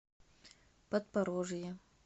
подпорожье